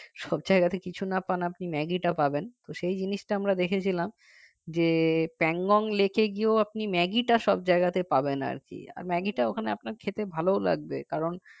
সব জায়গাতেই কিছু না পান আপনি ম্যাগি টা পাবেন তো সেই জিনিসটা আমরা দেখেছিলাম যে pangonglake এ গিয়েও আপনি ম্যাগিটা সব জায়গাতেই পাবেন আর কি ম্যাগি টা ওখানে আপনার খেতে ভালোও লাগবে কারণ